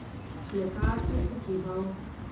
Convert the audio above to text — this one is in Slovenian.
Kletar je prikimal.